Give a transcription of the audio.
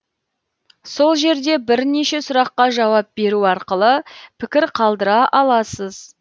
сол жерде бірнеше сұраққа жауап беру арқылы пікір қалдыра аласыз